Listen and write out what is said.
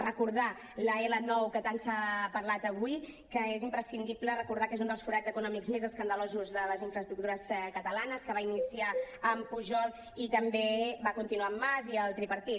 recordar l’l9 que tant s’ha parlat avui que és imprescindible recordar que és un dels forats econòmics més escandalosos de les infraestructures catalanes que va iniciar amb pujol i també va continuar amb mas i el tripartit